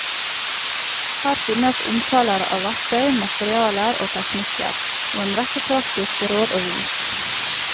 Her finnes omtaler av verktøy, materialer og teknikker, og en rekke praktiske råd og vink.